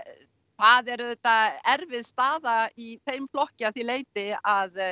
það er auðvitað erfið staða í þeim flokki að því leyti að